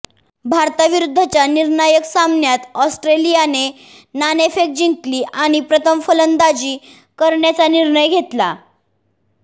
भारताविरुद्धच्या निर्णायक सामन्यात ऑस्ट्रेलियाने नाणेफेक जिंकली आणि प्रथम फलंदाजी करण्याचा निर्णय घेतला